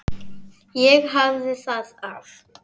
Ég hafði það af.